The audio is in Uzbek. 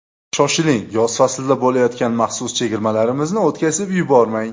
Shoshiling, yoz faslida bo‘layotgan maxsus chegirmalarimizni o‘tkazib yubormang!